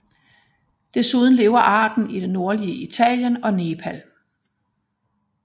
Desuden lever arten i det nordlige Indien og Nepal